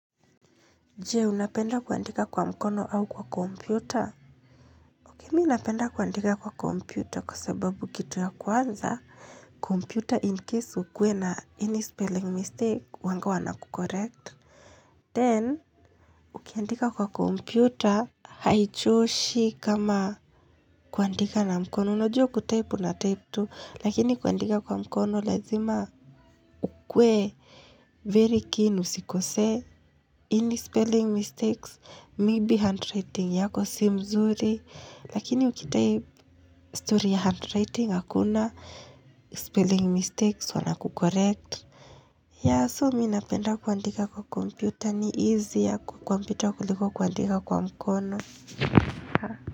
Je, unapenda kuandika kwa mkono au kwa kompyuta? Mimi unapenda kuandika kwa kompyuta kwa sababu kitu ya kwanza, kompyuta in case ukuwe na any spelling mistake, huwanga wana kucorrect. Then, ukiandika kwa kompyuta, haichoshi kama kuandika na mkono. Unajua kutype na type tu, lakini kuandika kwa mkono lazima kwe very keen usikose. Any spelling mistakes, maybe handwriting yako si mzuri Lakini ukitype story ya handwriting hakuna spelling mistakes wana kucorrect ya so mi napenda kuandika kwa computer ni easier kuliko kuandika kwa mkono.